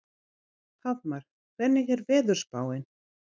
Hallmar, hvernig er veðurspáin?